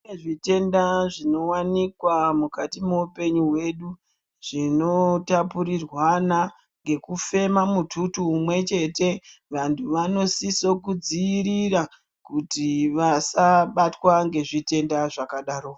Kune zvitenda zvino wanikwa mukati mwe upenyu hwedu zvino tapurirwana ngeku fema mututu umwe cheta vantu vanosiso ku dzivirira kuti vasa batwa nge zvitenda zvakadaro.